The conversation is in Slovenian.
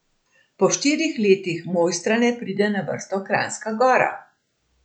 Po štirih letih Mojstrane pride na vrsto Kranjska Gora.